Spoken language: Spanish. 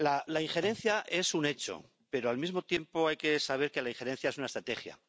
La injerencia es un hecho, pero al mismo tiempo hay que saber que la injerencia es una estrategia.